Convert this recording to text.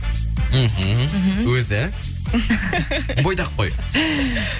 мхм өзі бойдақ қой